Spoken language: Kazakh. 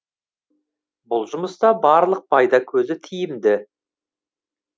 бұл жұмыста барлық пайда көзі тиімды